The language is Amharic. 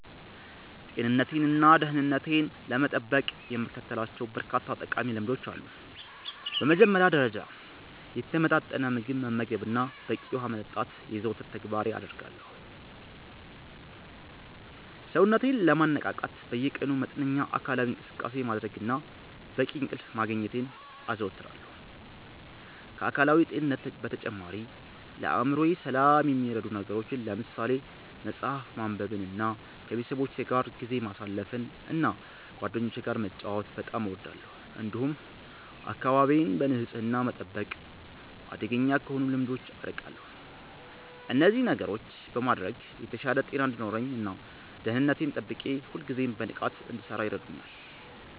ጤንነቴንና ደህንነቴን ለመጠበቅ የምከተላቸው በርካታ ጠቃሚ ልምዶች አሉ። በመጀመሪያ ደረጃ፣ የተመጣጠነ ምግብ መመገብንና በቂ ውሃ መጠጣትን የዘወትር ተግባሬ አደርጋለሁ። ሰውነቴን ለማነቃቃት በየቀኑ መጠነኛ አካላዊ እንቅስቃሴ ማድረግንና በቂ እንቅልፍ ማግኘትን አዘወትራለሁ። ከአካላዊ ጤንነት በተጨማሪ፣ ለአእምሮዬ ሰላም የሚረዱ ነገሮችን ለምሳሌ መጽሐፍ ማንበብንና ከቤተሰቦቼ ጋር ጊዜ ማሳለፍን እና ጓደኞቼ ጋር መጫወት በጣም እወዳለሁ። እንዲሁም አካባቢዬን በንጽህና መጠበቅና አደገኛ ከሆኑ ልምዶች አርቃለሁ። እነዚህን ነገሮች በማድረግ የተሻለ ጤና እንዲኖረኝ እና ደህንነቴን ጠብቄ ሁልጊዜም በንቃት እንድሠራ ይረዱኛል።